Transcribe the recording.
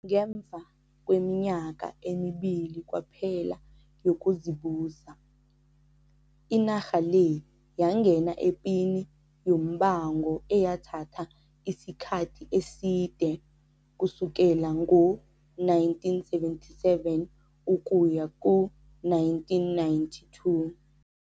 Ngemva kweminyaka emibili kwaphela yokuzibusa, inarha le yangena epini yombango eyathatha isikhathi eside kusukela ngo-1977 ukuya ku-1992.